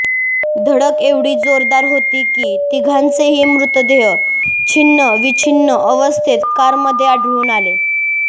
धडक एवढी जोरदार होती की तिघांचेही मृतदेह छिन्न विछीन्न अवस्थेत कारमध्ये आढळून आले